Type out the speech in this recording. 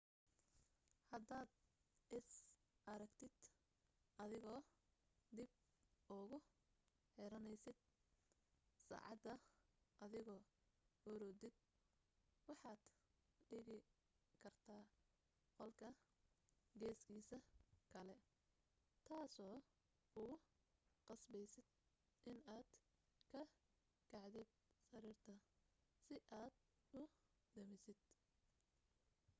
haddaad is aragtid adigoo dib ugu xiranaysid saacada adigoo hurudid waxaad dhigi kartaa qolka geeskiisa kale taasoo kugu qasbaysid inaad ka kacdid sariirta si aad u damisid